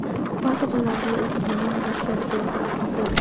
Ba’zi hollarda esa buning teskarisini ko‘rish mumkin.